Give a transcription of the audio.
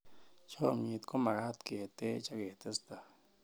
chomyet ko magat ketch ak ketesetai